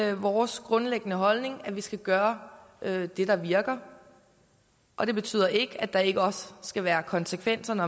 er vores grundlæggende holdning at vi skal gøre det der virker og det betyder ikke at der ikke også skal være konsekvenser når